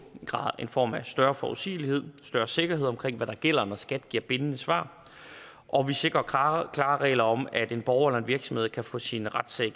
i form af større forudsigelighed og større sikkerhed omkring hvad der gælder når skat giver bindende svar og vi sikrer klare regler om at en borger eller en virksomhed kan få sin retssag